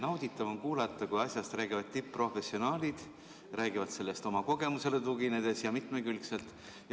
Nauditav on kuulata, kui asjast räägivad tipp-professionaalid, räägivad sellest oma kogemusele tuginedes ja mitmekülgselt.